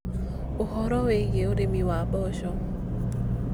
ũhoro wĩgĩe ũrĩmi wa mboco.